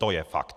To je fakt!